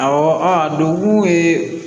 Awɔ a don